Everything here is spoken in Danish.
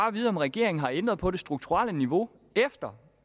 at vide om regeringen har ændret på det strukturelle niveau efter